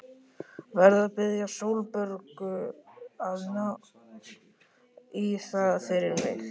Verð að biðja Sólborgu að ná í það fyrir mig.